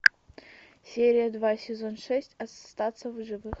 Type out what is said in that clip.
серия два сезон шесть остаться в живых